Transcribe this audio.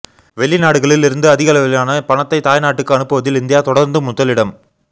வெளிநாடுகளில் இருந்து அதிகளவிலான பணத்தை தாய்நாட்டுக்கு அனுப்புவதில் இந்தியா தொடர்ந்து முதலிடம்